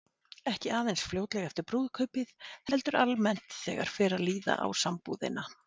Ekki aðeins fljótlega eftir brúðkaupið, heldur almennt þegar fer að líða á sambúðina.